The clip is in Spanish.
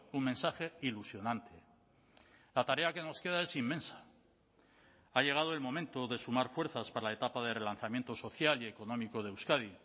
un mensaje ilusionante la tarea que nos queda es inmensa ha llegado el momento de sumar fuerzas para la etapa de relanzamiento social y económico de euskadi